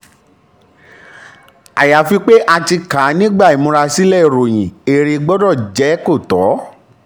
ayafi pé a ti um kà á nígbà ìmúrasílẹ̀ ìròyìn èrè um gbọdọ̀ jẹ́ kò tọ.